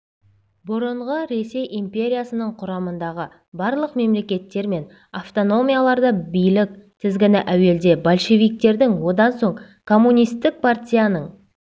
бұрынғы ресей империясының құрамындағы барлық мемлекеттер мен автономияларда билік тізгіні әуелде большевиктердің одан соң коммунистік партияның